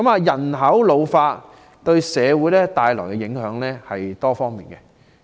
人口老化為社會帶來的影響是多方面的。